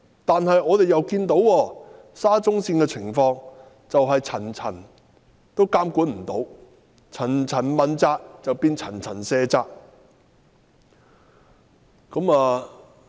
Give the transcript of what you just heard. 可是，我們又看到沙中線的情況是層層未能好好監管，層層問責變成層層卸責。